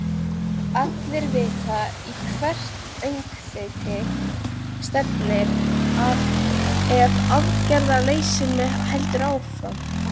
Allir vita í hvert öngþveiti stefnir ef aðgerðarleysinu heldur áfram.